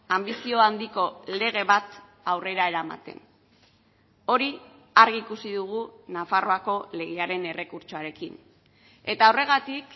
anbizio handiko lege bat aurrera eramaten hori argi ikusi dugu nafarroako legearen errekurtsoarekin eta horregatik